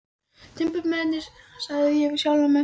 Timburmennirnir, sagði ég við sjálfan mig.